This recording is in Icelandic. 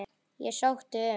Ég sótti um.